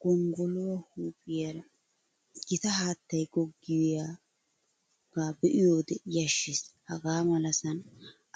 Gonggoluwaa huuphiyaaraa gita haattay goggiyaa be'iyoode yashshes. Hagaa malasan